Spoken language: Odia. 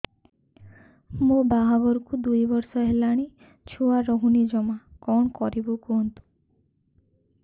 ମୋ ବାହାଘରକୁ ଦୁଇ ବର୍ଷ ହେଲାଣି ଛୁଆ ରହୁନି ଜମା କଣ କରିବୁ କୁହନ୍ତୁ